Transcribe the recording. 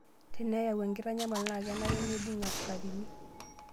Teneyawu enkitanyamal naa kenare neibung askarini.